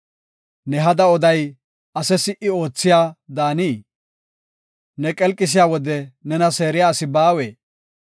Ne hada oday ase si77i oothiya daanii? Ne qelqisiya wode nena seeriya asi baawee?